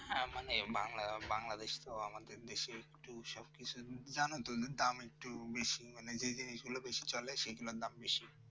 হ্যাঁ মানে বাংলাদেশী তো আমাদের দেশে একটু সবকিছু জানো তো দাম একটু বেশি মানে যে জিনিসগুলো বেশি চলে সেগুলোর দাম বেশি